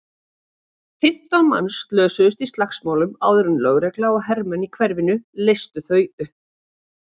Fimmtán manns slösuðust í slagsmálunum áður en lögregla og hermenn í hverfinu leystu þau upp.